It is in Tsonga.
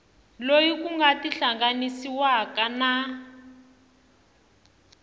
loyi ku nga tihlanganisiwaka na